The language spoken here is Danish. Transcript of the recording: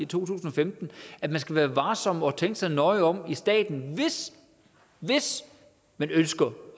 tusind og femten at man skal være varsom og tænke sig nøje om i staten hvis man ønsker